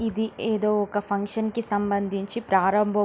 ఇది ఏదో ఒక ఫంక్షన్ కి సంబదించి ప్రారంభ --